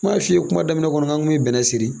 N m'a f'i ye kuma daminɛ kɔnɔ n k'an kun bɛ bɛnnɛ siri.